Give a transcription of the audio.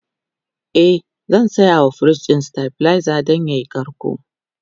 e zan sayawa firij ɗin stabilizer Dan yayi karko